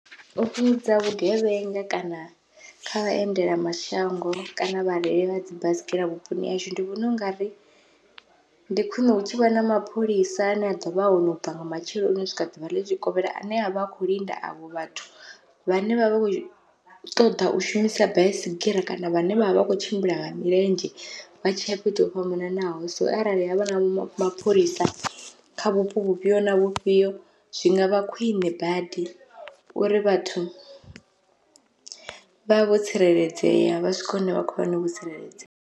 U fhungudza vhugevhenga kana kha vhaendelamashango kana vhareili vha dzi baisigira vhuponi hashu, ndi vhona ungari ndi khwiṋe hu tshi vha na mapholisa ane a ḓovha a hone u bva nga matsheloni u swika ḓuvha ḽitshikovhela ane avha akho linda avho vhathu vhane vha vha kho ṱoḓa u shumisa baisigira kana vhane vha vha vha kho tshimbila nga milenzhe vha tshiya fhethu ho fhambananaho, so arali havha na mapholisa kha vhupo vhufhio na vhufhio zwi ngavha khwiṋe badi uri vhathu vhavho tsireledzea vha swika hune vha khoya hone vho tsireledzea.